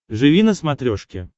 живи на смотрешке